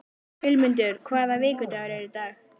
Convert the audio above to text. Vilmundur, hvaða vikudagur er í dag?